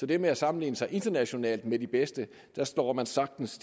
det med at sammenligne sig internationalt med de bedste står man sagtens